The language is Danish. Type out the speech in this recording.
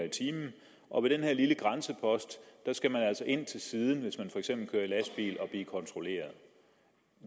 og ved den her lille grænsepost skal man altså køre ind til siden hvis man for eksempel kører i lastbil og blive kontrolleret